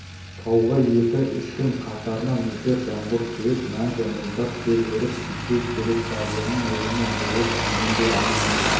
тауға екі-үш күн қатарынан нөсер жаңбыр құйып мәңгі мұздар тез еріп кетсе керек дарияның реңі бұзылып дегенде-ақ